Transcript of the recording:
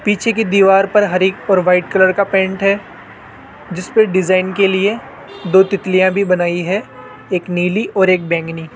पीछे की दीवार पर हरे और वाइट कलर का पेंट है जिसपे डिज़ाइन के लिए दो तितलियां भी बनाई है एक नीली और एक बैंगनी।